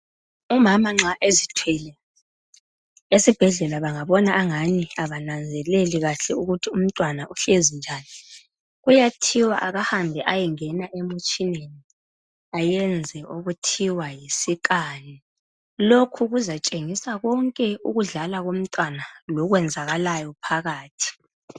Umama nxa ezithwele esibhedlela benga bona ngani abananzelele ukuthi umntwana uhlezi ngaphi bayathi angene emtshineni ayenze okuthiwa yisikhani lokhu kuza tshengisa konke ukudlala komntwana lokuyenzakalayo phakathi